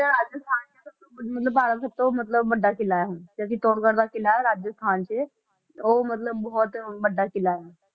ਰਾਜਸਥਾਨ 'ਚ ਆ ਸਭ ਤੋਂ ਮਤਲਬ ਸਭ ਤੋਂ ਮਤਲਬ ਵੱਡਾ ਕਿਲ੍ਹਾ ਹੈ ਉਹ, ਜੋ ਚਿਤੋੜਗੜ ਦਾ ਕਿਲ੍ਹਾ ਹੈ ਰਾਜਸਥਾਨ 'ਚ ਉਹ ਮਤਲਬ ਬਹੁਤ ਵੱਡਾ ਕਿਲ੍ਹਾ ਹੈ,